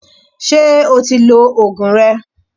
Ṣé o ti lo Ògùn rẹ?